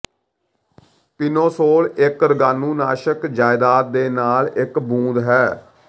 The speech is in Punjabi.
ਪਿਨੋਸੋਲ ਇੱਕ ਰੋਗਾਣੂਨਾਸ਼ਕ ਜਾਇਦਾਦ ਦੇ ਨਾਲ ਇਕ ਬੂੰਦ ਹੈ